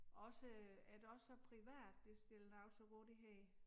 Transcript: Også er der også så private der stiller noget til rådighed